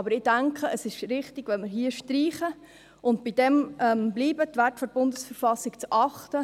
Ich denke aber, es ist richtig, wenn wir hier streichen und dabeibleiben, die Werte der BV zu achten.